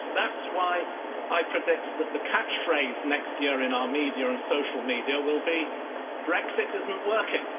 Brexit. That's why I predict that the catchphrase next year in our media and social media will be Brexit isn't working'.